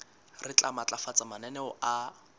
re tla matlafatsa mananeo a